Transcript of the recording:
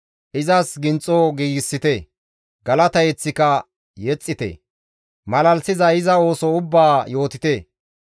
Izas ginxo giigsite; galata yeththika yexxite; malalisiza iza ooso ubbaa yootite.